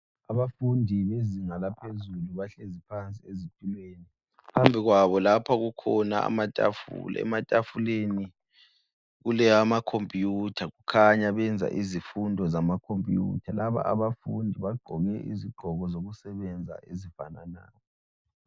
Abafundi bezinga laphezulu bahlezi phansi ezitulweni, phambi kwabo lapha kukhona amatafula. Ematafuleni kuleyamakhomputha khanya benza izifundo zamakhomputha. Laba abafundi bagqoke izigqoko zokusebenza ezifananayo.